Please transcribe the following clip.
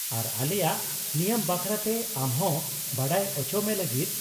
ᱟᱨ ᱟᱞᱮᱭᱟᱜ ᱱᱤᱭᱚᱢ ᱵᱟᱠᱷᱨᱟᱛᱮ ᱟᱢ ᱦᱚᱸ ᱵᱟᱰᱟᱭ ᱚᱪᱚᱢᱮ ᱞᱟᱹᱜᱤᱫ ᱾